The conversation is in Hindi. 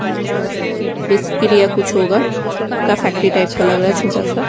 उम्म निष्क्रिय कुछ होगा उसका फैक्ट्री टाइप का लग रहा है छोटा सा।